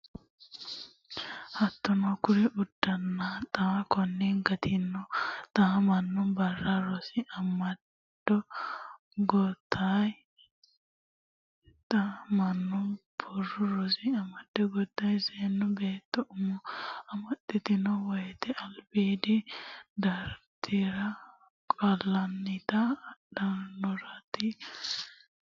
Hattono kuri uddanna xaa Konni gattino xa mono Barru Rosi Amado Goodayya seemo beetto umo amaxxitanno woyte albiidi daratira Qaallannita Addaarronna Gurcho fixxidhanno umooti.